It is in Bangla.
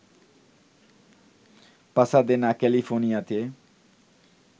পাসাদেনা, ক্যালিফোর্নিয়াতে